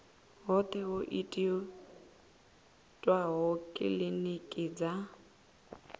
hoṱhe ho itwaho kilinikini dza